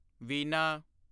ਵੀਨਾ